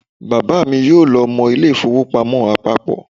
Bàbá mi yóò lọ mọ ilé ìfowópamọ́ àpapọ̀